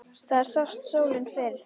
Þar sást sólin fyrr.